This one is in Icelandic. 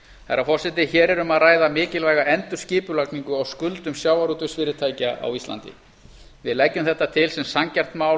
herra forseti hér er um að ræða mikilvæga endurskipulagningu á skuldum sjávarútvegsfyrirtækja á íslandi við leggjum þetta til sem sanngjarnt mál